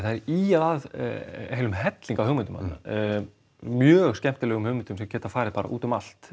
það er ýjað að heilum helling af hugmyndum þarna mjög skemmtilegum hugmyndum sem geta farið út um allt